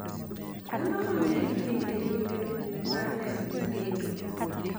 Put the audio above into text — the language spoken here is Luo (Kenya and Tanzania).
Dhano mang`eny dhi e limbe mar neno nyithindo.